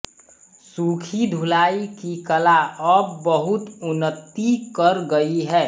सूखी धुलाई की कला अब बहुत उन्नति कर गई है